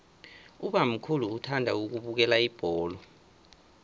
ubamkhulu uthanda ukubukela ibholo